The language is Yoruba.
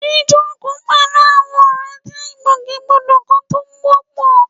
Jíjókòó pẹ̀lú àwọn ọ̀rẹ́ jẹ́ ìgbòkègbodò kan tó wọ́pọ̀